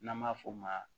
N'an b'a f'o ma